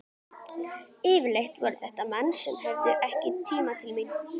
Yfirleitt voru þetta menn sem höfðuðu ekki til mín.